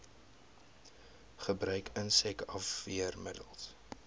gebruik insek afweermiddels